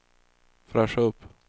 fräscha upp